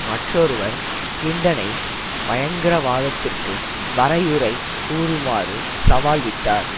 மற்றொருவர் கிளின்டனை பயங்கரவாதத்திற்கு வரையுறை கூறுமாறு சவால் விட்டார்